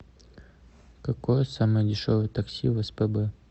какое самое дешевое такси в спб